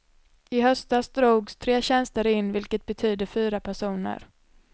I höstas drogs tre tjänster in, vilket betyder fyra personer.